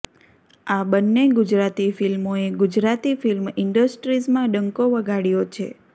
આ બન્ને ગુજરાતી ફિલ્મોએ ગુજરાતી ફિલ્મ ઈન્ડસ્ટ્રીઝમાં ડંકો વગાડ્યો છે